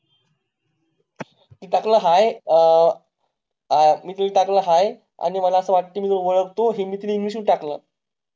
मी टाकला Hi मी ती टाकला HI आणि मला असं वाटतं मी तुला उळखतो हे मी तिला English मध्ये टाकलं